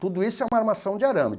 Tudo isso é uma armação de arame.